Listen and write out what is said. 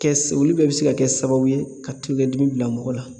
Kɛ olu bɛɛ bɛ se ka kɛ sababu ye ka tulokɛ dimi bila mɔgɔ la